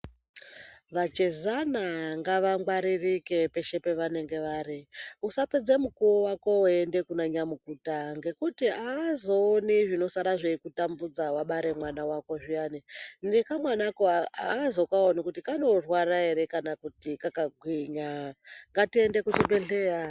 Vachezana ngavangwaririke peshe pevanenge vari. Usapedza mukuwo wako weienda kuna nyamukuta, ngekuti aazooni zvinosara zveikutambudza wabare mwana wako zviyani, nekamwanako aazokaoni kuti kanorwara ere kana kuti kakagwinya. Ngatiende kuzviibhedhleya.